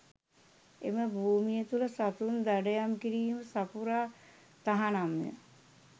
එම භූමිය තුළ සතුන් දඩයම් කිරීම සපුරා තහනම්ය